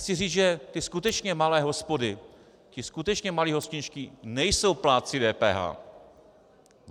Chci říct, že ty skutečně malé hospody, ti skutečně malí hostinští nejsou plátci DPH.